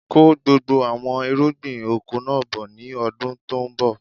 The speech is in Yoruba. Kó gbogbo àwọn irúgbìn oko náà bọ̀ ni ọdún tòun bọ̀!